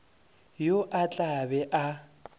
yo o tla be a